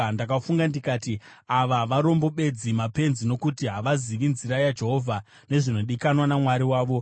Ndakafunga ndikati, “Ava varombo bedzi; mapenzi, nokuti havazivi nzira yaJehovha, nezvinodikanwa naMwari wavo.